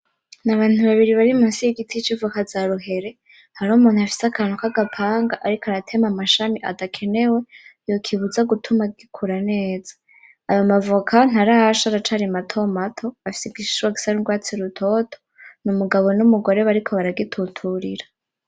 Ni abantu babiri bari munsi yigiti civoka zaruhere, hariho umuntu afise akantu kagapanga ariko ariko aratema amashami adakenewe, yokibuza gituma gikura neza ayo mavoka ntarasha aracari matomato afise igishishwa gisa nurwatsi rutoto. Umugabo numugore bariko baragituturira.